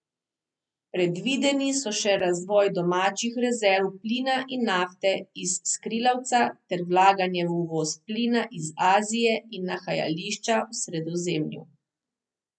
Predvideni so še razvoj domačih rezerv plina in nafte iz skrilavca ter vlaganje v uvoz plina iz Azije in nahajališča v Sredozemlju.